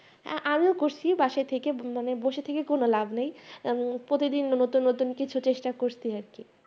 আহ আমিও করছি বাসায় থেকে মানে বসে থেকে কোনো লাভ নেই আহ প্রতিদিন নতুন নতুন কিছু চেষ্টা করছি আরকি